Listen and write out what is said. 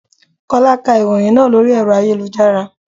Kọ́lá ká ìròhìn náà lórí ẹ̀rọ ayélujára.